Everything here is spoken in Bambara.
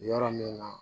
Yɔrɔ min na